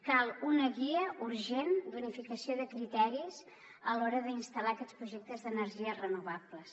cal una guia urgent d’unificació de criteris a l’hora d’instal·lar aquests projectes d’energies renovables